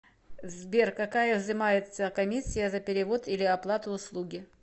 сбер какая взимается комиссия за перевод или оплату услуги